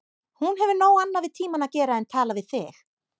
Hún hefur nóg annað við tímann að gera en tala við þig.